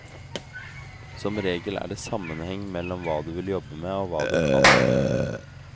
Som regel er det sammenheng mellom hva du vil jobbe med og hva du kan.